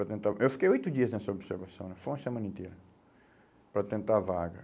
para tentar o... Eu fiquei oito dias nessa observação, foi uma semana inteira, para tentar a vaga.